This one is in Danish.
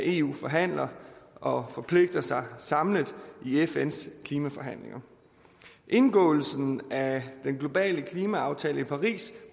eu forhandler og forpligter sig samlet i fns klimaforhandlinger indgåelsen af den globale klimaaftale i paris